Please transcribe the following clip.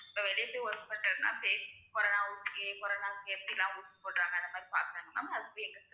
வெளியேயும் work பண்றதுன்னா casecorona வுக்கு corona வுக்கு எப்படி எல்லாம் ஊசி போடறாங்கன்னு அதப்போய் பாக்கணும் ma'am